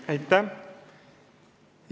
Aitäh!